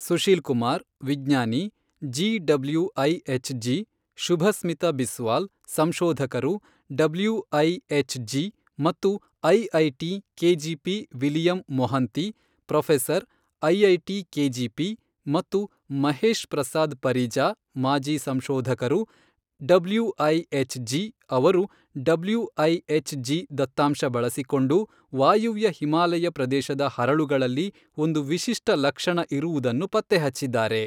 ಸುಶೀಲ್ ಕುಮಾರ್, ವಿಜ್ಞಾನಿ, G WIH G Shubhasmita Biswal, ಸಂಶೋಧಕರು, WIH G ಮತ್ತು IIT KGP William Mohanty, professor, IIT KGP ಮತ್ತು ಮಹೇಶ್ ಪ್ರಸಾದ್ ಪರಿಜಾ, ಮಾಜಿ ಸಂಶೋಧಕರು, ಡಬ್ಲೂಐಎಚ್ ಜಿ ಅವರು ಡಬ್ಲೂಐಎಚ್ ಜಿ ದತ್ತಾಂಶ ಬಳಿಸಿಕೊಂಡು, ವಾಯುವ್ಯ ಹಿಮಾಲಯ ಪ್ರದೇಶದ ಹರಳುಗಳಲ್ಲಿ ಒಂದು ವಿಶಿಷ್ಟ ಲಕ್ಷಣ ಇರುವುದನ್ನು ಪತ್ತೆಹಚ್ಚಿದ್ದಾರೆ.